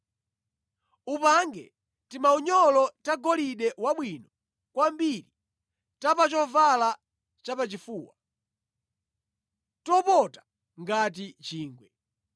“Upange timaunyolo tagolide wabwino kwambiri ta pa chovala chapachifuwa, topota ngati chingwe.